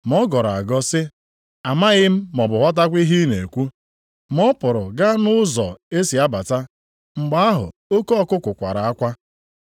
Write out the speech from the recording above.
Ma ọ gọrọ agọ sị, “Amaghị m, maọbụ ghọtakwa ihe ị na-ekwu.” Ma ọ pụrụ gaa nʼụzọ e si abata. Mgbe ahụ oke ọkụkụ kwara akwa.